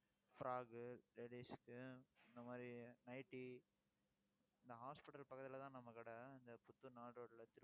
frock ladies க்கு இந்த மாதிரி nightly இந்த hospital பக்கத்துலதான் நம்ம கடை இந்த புத்தூர் நாலு ரோட்ல